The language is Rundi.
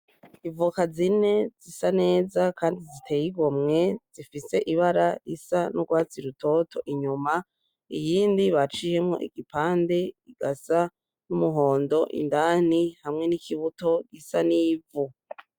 Ivoka zine zisa neza kandi ziteye igomwe izifise ibara isa n'urwatsi rutoto inyuma, iyindi baciyemwo igipande igasa n'umuhondo indani hamwe n'ikibuto gisa n'ivu.